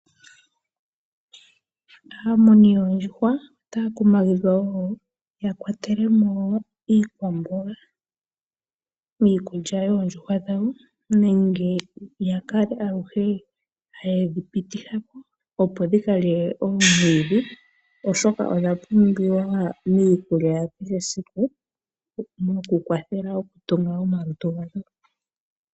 Aamuni yoondjuhwa otaya kumagidhwa wo ya kwatele mo wo iikwamboga miikulya yoondjuhwa dhawo nenge ya kale aluhe haye dhi pititha ko, opo dhi ka lye omwiidhi, oshoka ogwa pumbiwa miikulya ya kehe esiku mokukwathela okutunga omalutu gadho.